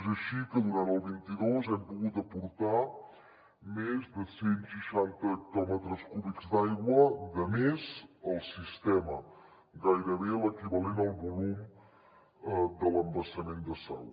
és així que durant el vint dos hem pogut aportar més de cent seixanta hectòmetres cúbics d’aigua de més al sistema gairebé l’equivalent al volum de l’embassament de sau